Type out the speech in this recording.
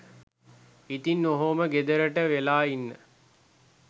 ඉතින් ඔහොම ගෙදරට වෙලා ඉන්න